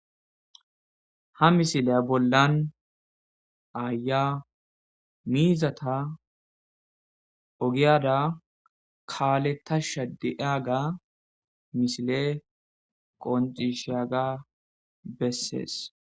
Ha misilay bollan tan betizay aya miza ogeyara kalethashe epeyaga misiley qoniciseyaga beses